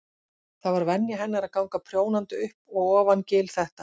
Það var venja hennar að ganga prjónandi upp og ofan gil þetta.